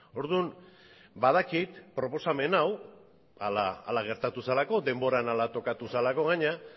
orduan badakit proposamen hau hala gertatu zelako denboran hala tokatu zelako gainera